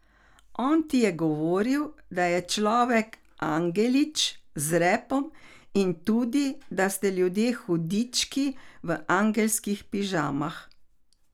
On ti je govoril, da je človek angelič z repom in tudi, da ste ljudje hudički v angelskih pižamah.